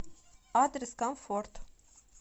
адрес комфорт